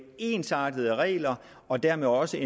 ensartede regler og dermed også